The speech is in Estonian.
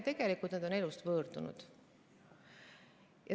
Tegelikult nad on elust võõrdunud.